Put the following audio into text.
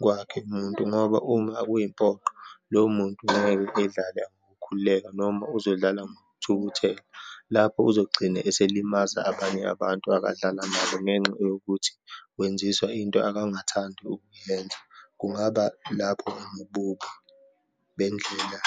kwakhe umuntu, ngoba uma kuyimpoqo lowo muntu ngeke edlala ngokukhululeka noma uzodlala ngokuthukuthela. Lapho uzogcine esilimaza abanye abantu akadlala nabo ngenxa yokuthi wenzisa into akangathandi ukuyenza. Kungaba lapho enobubi bendlela .